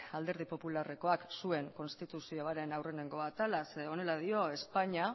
alderdi popularrekoak zuen konstituzioaren aurreneko atala zeren eta honela dio españa